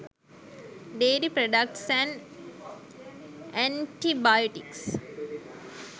dairy products and antibiotics